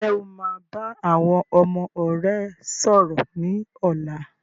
Ǹjẹ́ o máa bá àwọn ọmọ rẹ sọ̀rọ̀ ni ọ̀la?